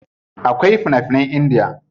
Akwai fina finan Indiya.